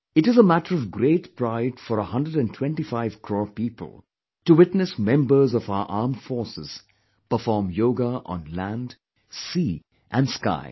It is a matter of great pride for a hundred & twenty five crore people to witness members of our armed forces perform yoga on land, sea & sky